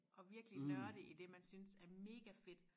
At virkelig nørde i det man synes er mega fedt